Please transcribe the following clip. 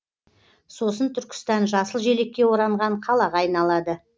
сосын түркістан жасыл желекке оранған қалаға айналады